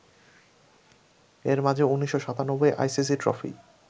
এর মাঝে ১৯৯৭ ICC trophy